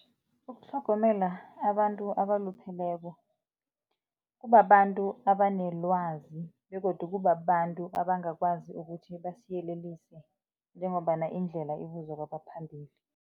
Ukutlhogomela abantu abalupheleko kubabantu abanelwazi begodu kubabantu abangakwazi ukuthi basiyelelise njengombana indlela ibuzwa kwabaphambili.